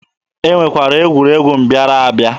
E nwekwara egwuregwu mbịara abịa.